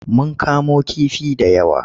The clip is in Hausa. Mun kamo kifi da yawa.